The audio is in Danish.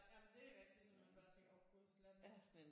Ja jamen det er rigtigt når man bare tænker åh gud lad nu